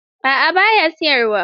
A'a, ba ya siyarwa.